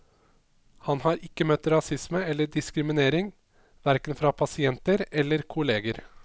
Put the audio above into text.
Han har ikke møtt rasisme eller diskriminering, hverken fra pasienter eller kolleger.